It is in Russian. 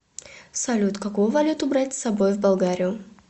салют какую валюту брать с собой в болгарию